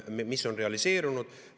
Ma ütlen, mis on realiseerunud.